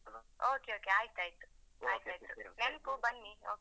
Okay Okay ಆಯ್ತ್ ಆಯ್ತ್ ಆಯ್ತ್ ಆಯ್ತ್. ನೆನ್ಪು ಬನ್ನಿ okay.